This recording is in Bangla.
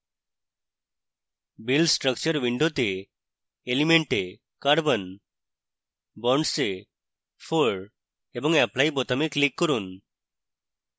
build structure window element এ carbon bonds এ 4 এবং apply বোতামে click করুন